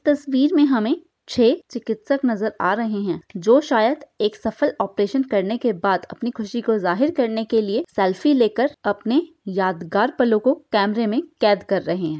तस्वीर मे हमे छह चिकित्सक नजर आ रहे है जो शायद एक सफल ऑपरेशन करने के बाद अपनी खुशी को जाहिर करने के लिए सेल्फी लेकर अपने यादगार पर लोगों को कैमरे में कैद कर रहे हैं।